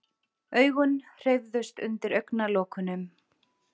Augun hreyfðust undir augnalokunum.